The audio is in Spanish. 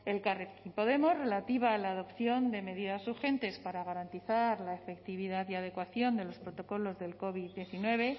elkarrekin podemos relativa a la dotación de medidas urgentes para garantizar la efectividad y la adecuación de los protocolos del covid diecinueve